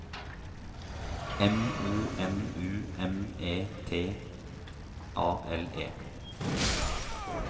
M O N U M E N T A L E